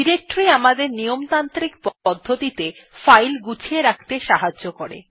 directory আমাদের নিয়মতান্ত্রিক পদ্ধতিতে ফাইল গুছিয়ে রাখতে সাহায্য করে